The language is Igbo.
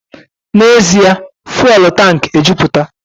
N'ezie! Fụ́élú tankị ejupụta.